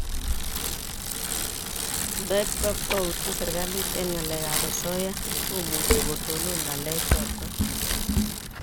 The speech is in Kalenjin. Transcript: Nda ip kabkwautiet serikalit eng' ngalek ab asoya ko muchi kotonon ngalek chotok